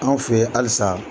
Anw fɛ in halisa